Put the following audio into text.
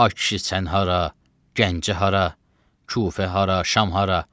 Ay kişi sən hara, Gəncə hara, Kufə hara, Şam hara?